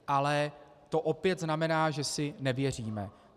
Ale to opět znamená, že si nevěříme.